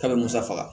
K'a bɛ musa faga